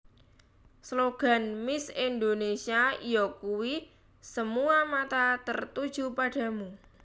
Slogan Miss Indonésia yakuwi Semua Mata Tertuju Padamu